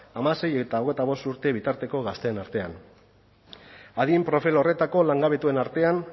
hamasei eta hogeita bost urte bitarteko gazteen artean adin profil horretako langabetuen artean